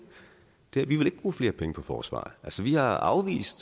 det er vi vil ikke bruge flere penge på forsvaret vi har afvist